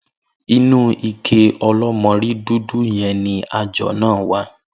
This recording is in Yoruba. Inú ike o̩ló̩mo̩rí dúdú ye̩n ni ajò̩ náà wà